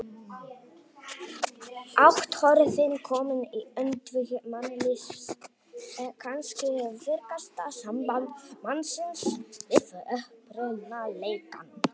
Athöfnin komin í öndvegi mannlífs, kannski virkasta samband mannsins við upprunaleikann.